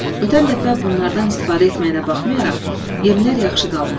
Ötən dəfə bunlardan istifadə etməyinə baxmayaraq yemlər yaxşı qalmışdı.